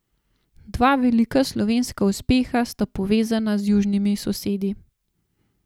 Dva velika slovenska uspeha sta povezana z južnimi sosedi.